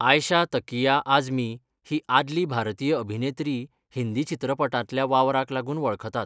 आयशा तकिया आझमी ही आदली भारतीय अभिनेत्री हिंदी चित्रपटांतल्या वावराक लागून वळखतात.